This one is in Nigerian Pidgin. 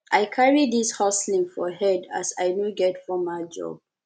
i carry dis hustling for head as i no get formal job